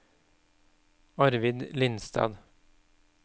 Arvid Lindstad